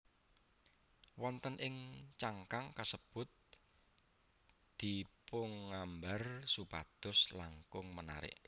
Wonten ing cangkang kasebut dipungambar supados langkung menarik